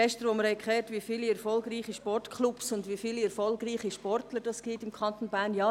Gestern haben wir gehört, wie viele erfolgreiche Sportclubs und Sportler es im Kanton Bern gibt.